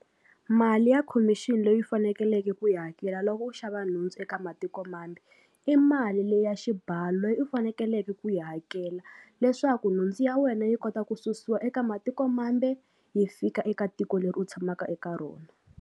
Mali ya khomixini loyi fanekeleke ku yi hakela loko u xava nhundzu eka matiko mambe i mali leyi ya xibalo loyi u fanekeleke ku yi hakela leswaku nhundzu ya wena yi kota ku susiwa eka matiko mambe yi fika eka tiko leri u tshamaka eka rona.